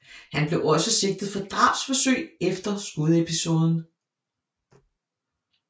Han blev også sigtet for drabsforsøg efter skudepisoden